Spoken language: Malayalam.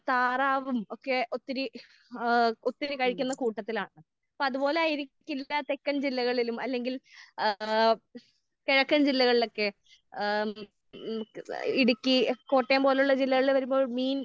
താറാവും ഒക്കെ ഒത്തിരി ഏഹ് ഒത്തിരി കഴിക്കുന്ന കൂട്ടത്തിലാണ്. അപ്പൊ അത് പോലെ ആയിരിക്കില്ല തെക്കൻ ജില്ലകളിലും അല്ലെങ്കിൽ ഏഹ് കിഴക്കൻ ജില്ലകളിലൊക്കെ. ഏഹ് ഹ്മ് ഇടുക്കി കോട്ടയം പോലുള്ള ജില്ലകളിൽ വരുമ്പോൾ മീൻ